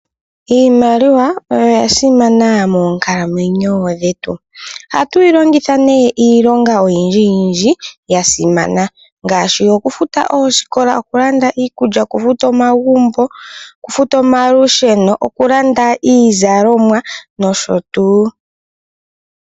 Iimaliwa oya simana moonkalamwenyo dhetu. Ohatu yi longitha nee iilonga oyindjiyindji ya simana ngaashi, okufuta oosikola, okulanda iikulya, okufuta omagumbo, okufuta omalusheno, okulanda iizalomwa, nosho tuu.